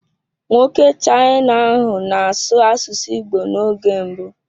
Nwoke China ahụ na-asụ asụsụ Igbo n'oge mbụ